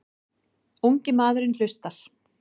Ungi maðurinn hlustar.